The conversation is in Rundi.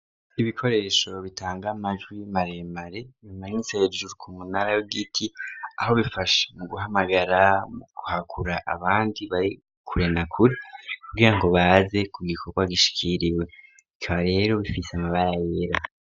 Ibikoresho bitanga majwi y'imaremare bimanyitseejuru ku munara w' giti aho bifashe mu guhamagara mu guhakura abandi barikure na kuri kugira ngo baze ku gikorwa gishikiriwe ikaba rero bifise amabara yera.